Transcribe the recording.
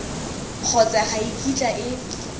kgotsa ga e kitla e